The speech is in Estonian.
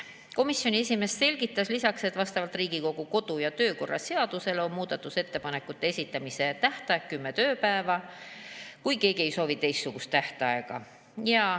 Komisjoni esimees selgitas lisaks, et vastavalt Riigikogu kodu‑ ja töökorra seadusele on muudatusettepanekute esitamise tähtaeg kümme tööpäeva, kui keegi ei soovi teistsugust tähtaega.